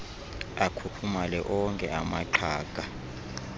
akhukhumale okhe amaxhaga